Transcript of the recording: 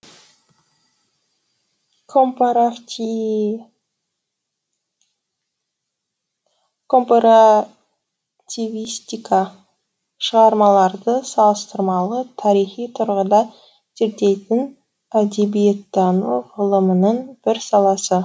компаративистика шығармаларды салыстырмалы тарихи тұрғыда зерттейтін әдебиеттану ғылымының бір саласы